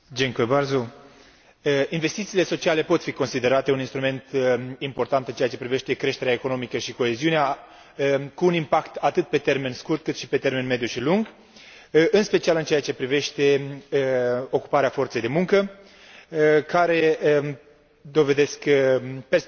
Investițiile sociale pot fi considerate un instrument important în ceea ce privește creșterea economică și coeziunea, cu un impact atât pe termen scurt, cât și pe termen mediu și lung, în special în ceea ce privește ocuparea forței de muncă, care dovedesc perspective importante pentru